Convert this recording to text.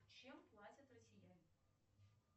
чем платят россияне